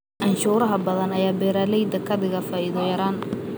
Canshuuraha badan ayaa beeraleyda ka dhiga faa'iido yaraan.